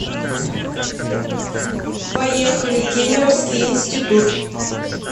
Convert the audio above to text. поехали кемеровский институт